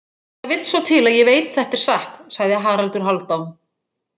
Það vill svo til að ég veit þetta er satt, sagði Haraldur Hálfdán.